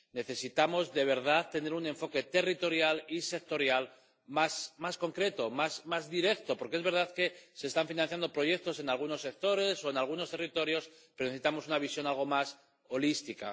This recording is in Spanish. Necesitamos, de verdad, tener un enfoque territorial y sectorial más concreto, más directo, porque es verdad que se están financiando proyectos en algunos sectores o en algunos territorios, pero necesitamos una visión algo más holística.